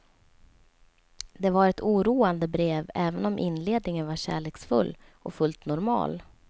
Det var ett oroande brev, även om inledningen var kärleksfull och fullt normal.